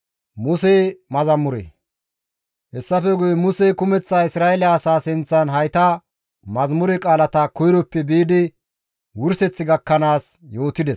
Hessafe guye Musey kumeththa Isra7eele asaa sinththan hayta mazamure qaalata koyroppe biidi wurseth gakkanaas yootides.